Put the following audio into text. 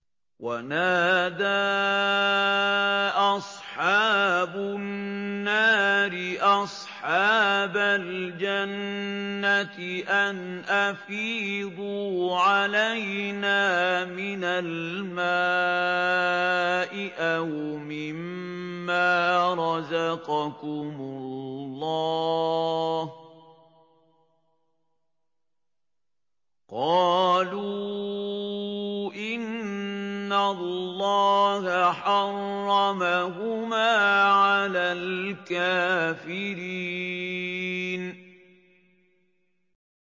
وَنَادَىٰ أَصْحَابُ النَّارِ أَصْحَابَ الْجَنَّةِ أَنْ أَفِيضُوا عَلَيْنَا مِنَ الْمَاءِ أَوْ مِمَّا رَزَقَكُمُ اللَّهُ ۚ قَالُوا إِنَّ اللَّهَ حَرَّمَهُمَا عَلَى الْكَافِرِينَ